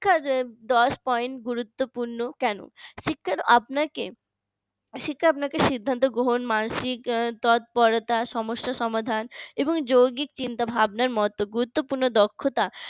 শিক্ষার দশ point গুরুত্বপূর্ণ কেন শিক্ষা আপনাকে শিক্ষা আপনাকে সিদ্ধান্ত গ্রহণ মানসিক তৎপরতা সমস্যার সমাধান এবং যৌগিক চিন্তাভাবনার মত গুরুত্বপূর্ণ দক্ষতা